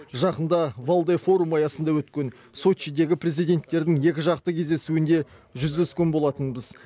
жақында валдай форумы аясында өткен сочидегі президенттердің екіжақты кездесуінде жүздескен болатынбыз